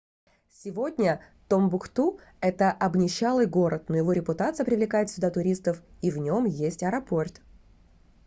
сегодня томбукту это обнищалый город но его репутация привлекает сюда туристов и в нем есть аэропорт